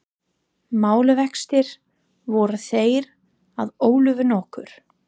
Málavextir voru þeir að Ólafur nokkur